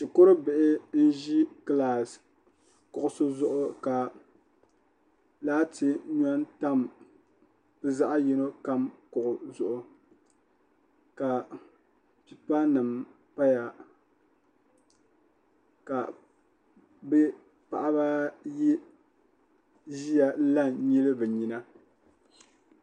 shikuru bihi n ʒi kilaas kuɣusi zuɣu ka laati nyɔ n tam bi zaɣ yino kam kuɣusi zuɣu ka pipa nim paya ka bi paɣaba ayi ʒiya n la n nyili bi nyina